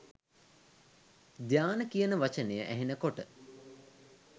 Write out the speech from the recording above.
ධ්‍යාන කියන වචනය ඇහෙන කොට